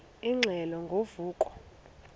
ingxelo ngo vuko